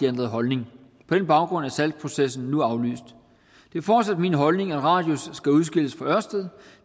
ændret holdning på den baggrund er salgsprocessen nu aflyst det er fortsat min holdning at radius skal udskilles fra ørsted